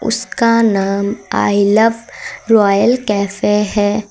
उसका नाम I Love Royal Cafe है।